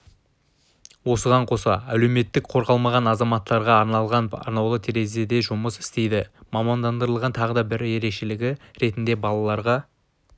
осыған қоса әлеуметтік қорғалмаған азаматтарға арналған арнаулы терезе жұмыс істейді мамандандырылған тағы бір ерекшелігі ретінде балаларға